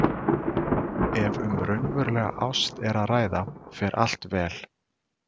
Ef um raunverulega ást er að ræða fer allt vel.